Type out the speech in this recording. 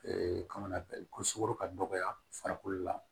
kamana ko sukoro ka dɔgɔya farikolo la